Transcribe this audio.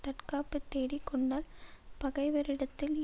தற்காப்புத் தேடிக் கொண்டால் பகைவரிடத்தில்